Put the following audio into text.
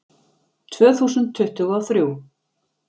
Tvö þúsund tuttugu og þrjú